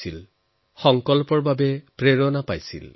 নতুন সংকল্পৰ অনুপ্ৰেৰণা লাভ কৰিব